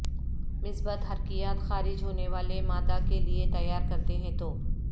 مثبت حرکیات خارج ہونے والے مادہ کے لئے تیار کرتے ہیں تو